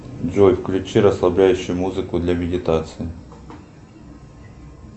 джой включи расслабляющую музыку для медитации